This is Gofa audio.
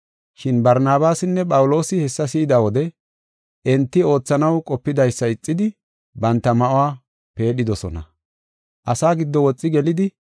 Shin Barnabaasinne Phawuloosi hessa si7ida wode enti oothanaw qopidaysa ixidi, banta ma7uwa peedhidosona. Asaa giddo woxi gelidi,